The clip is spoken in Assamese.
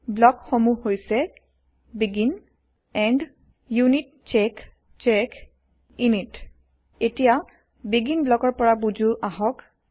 ব্লক সমূহ হৈছে160 আৰম্ভণি শেষ য়িউনিতচেক চেক ইনিত এতিয়া আৰম্ভণি ব্লকৰ পৰা বুজো আহক